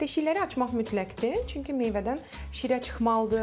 Deşikləri açmaq mütləqdir, çünki meyvədən şirə çıxmalıdır.